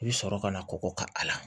I bɛ sɔrɔ ka na kɔkɔ ka a la